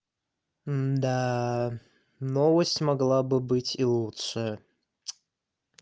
да новость могла бы быть и лучше